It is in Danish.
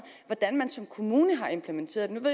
hvordan kommunerne har implementeret dem nu